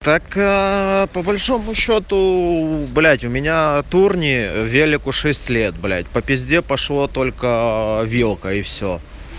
так по большому счёту блять у меня турни велику шесть лет блять по пизде пошло только вилка и всё